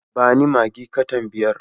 Ba ni maggi katan biyar.